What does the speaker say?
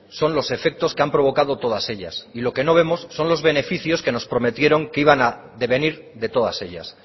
son los efectos que han provocado todas ellas y lo que no vemos son los beneficios que nos prometieron que iban a devenir de todas ellas